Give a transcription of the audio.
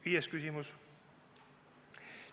Viies küsimus.